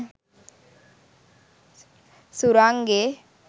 surange